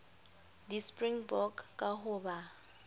di springbok ka ho ba